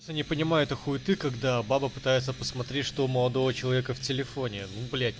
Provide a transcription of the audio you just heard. не понимаю ты хули ты когда баба пытается посмотреть что молодого человека в телефоне